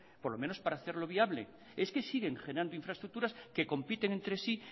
por lo menos para hacerlo viable es que siguen generando infraestructuras que compiten entre sí